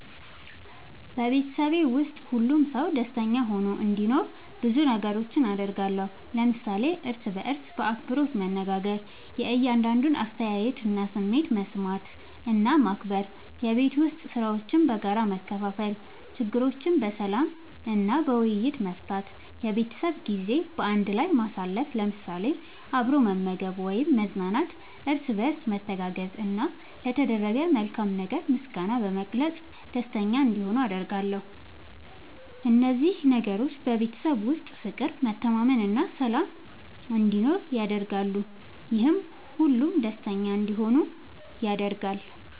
በቤተሰቤ ውስጥ ሁሉም ሰው ደስተኛ ሆኖ እንዲኖር ብዙ ነገሮችን አደርጋለሁ።። ለምሳሌ፦ እርስ በርስ በአክብሮት መነጋገር። የእያንዳንዱን አስተያየትና ስሜት መስማት እና ማክበር፣ የቤት ዉስጥ ሥራዎችን በጋራ መከፋፈል፣ ችግሮችን በሰላም እና በውይይት መፍታት፣ የቤተሰብ ጊዜ በአንድ ላይ ማሳለፍ ለምሳሌ፦ አብሮ መመገብ ወይም መዝናናት፣ እርስ በርስ መተጋገዝ፣ እና ለተደረገ መልካም ነገር ምስጋና በመግለጽ ደስተኛ እንዲሆኑ አደርጋለሁ። እነዚህ ነገሮች በቤተሰብ ውስጥ ፍቅር፣ መተማመን እና ሰላም እንዲኖር ያደርጋሉ፤ ይህም ሁሉም ደስተኛ እንዲሆኑ ያደርጋል።